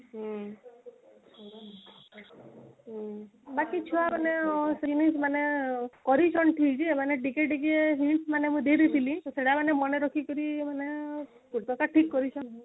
ବାକି ଛୁଆ ମାନେ ମାନେ କରିଛନ୍ତି ଠିକ ଯେ ମାନେ ଟିକିଏ ଟିକିଏ hints ମାନେ ମୁଁ ଦେଇ ଦେଇଥିଲି ତ ସେଇଟା ମାନେ ମନେ ରଖିକିରି ମାନେ ଠିକ କରିଛନ୍ତି